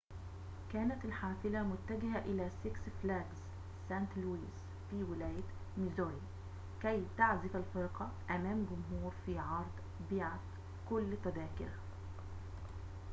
كانت الحافلة متجهة إلى سيكس فلاجز سانت لويس في ولاية ميزوري كي تعزف الفرقة أمام جمهور في عرض بيعت كل تذاكره